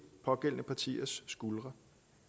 pågældende partiers skuldre